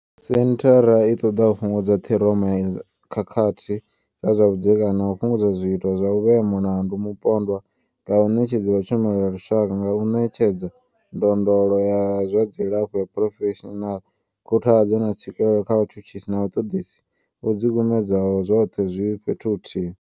Senthara i ṱoḓa u fhungudza ṱhiroma ya khakhathi dza zwa vhudzekani na u fhungudza zwiito zwa u vhea mulandu mupondwa nga vhaṋetshedzi vha tshumelo ya lushaka nga u ṋetshedza ndondolo ya zwa dzilafho ya phurofeshinala, khuthadzo, na tswikelo kha vhatshutshisi na vhaṱoḓisi vho ḓikumedzaho, zwoṱhe zwi fhethu huthihi.